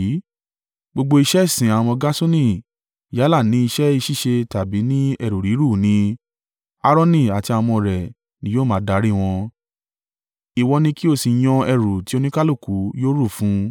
Gbogbo iṣẹ́ ìsìn àwọn ọmọ Gerṣoni yálà ni iṣẹ́ ṣíṣe tàbí ní ẹrù rírù ni, Aaroni àti àwọn ọmọ rẹ̀ ni yóò máa darí wọn; ìwọ ni kí o sì yàn ẹrù tí oníkálùkù yóò rù fún un.